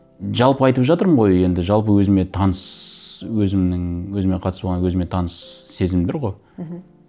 жалпы айтып жатырмын ғой енді жалпы өзіме таныс өзімнің өзіме қатыс болғанда өзіме таныс сезімдер ғой мхм